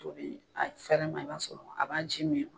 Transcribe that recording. A bi a fɛrɛ ma i b'a sɔrɔ a b'a ji min